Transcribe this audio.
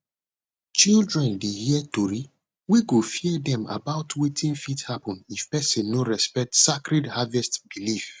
children dey hear tori wey go fear dem about wetin fit happen if person no respect sacred harvest belief